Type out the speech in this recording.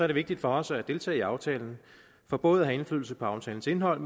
det vigtigt for os at deltage i aftalen for både at have indflydelse på aftalens indhold